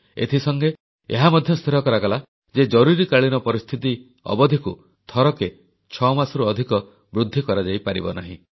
ଏଥିସଙ୍ଗେ ଏହା ମଧ୍ୟ ସ୍ଥିର କରାଗଲା ଯେ ଜରୁରୀକାଳୀନ ପରିସ୍ଥିତି ଅବଧିକୁ ଥରକେ ଛଅମାସରୁ ଅଧିକ ବୃଦ୍ଧି କରାଯାଇପାରିବ ନାହିଁ